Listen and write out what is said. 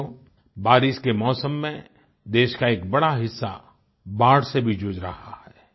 साथियो बारिश के मौसम में देश का एक बड़ा हिस्सा बाढ़ से भी जूझ रहा है